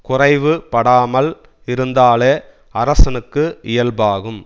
குறைவு படாமல் இருதந்தாலே அரசனுக்கு இயல்பாகும்